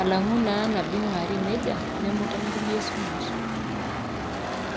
alangu naa nabo eingwaari neija ,nemuta naa te sumash.